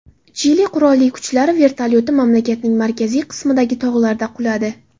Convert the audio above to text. Chili qurolli kuchlari vertolyoti mamlakatning markaziy qismidagi tog‘larda quladi.